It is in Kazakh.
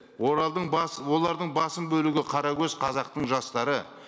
олардың басым бөлігі қара көз қазақтың жастары